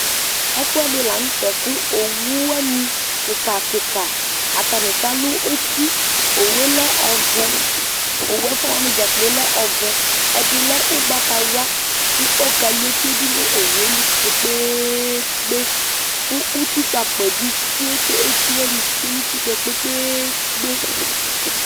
ɛfu ɛdi lanu tɛ ku owu wani kika kika atani kalu eti owu yɛ lɛ ɔvɛ, owu ɛfua wani dzakplo lɛ ɔvɛ edi lɛ ugbatawla ku ɔkalu eti yɛ dinu owu yɛ li kpekpeekpe ku utikpa akpa yɛ bi tsoe ku eti wani tsoe nu uti yɛ kpekpeekpe